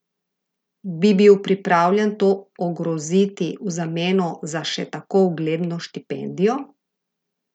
Bi bil pripravljen to ogroziti v zameno za še tako ugledno štipendijo?